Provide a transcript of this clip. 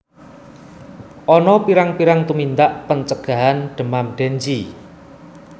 Ana pirang pirang tumindak pencegahan demam dengue